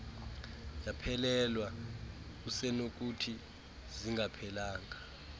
yaphelelwa usenokuthi zingaphelanga